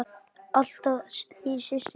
Alltaf þín systir, Sigrún.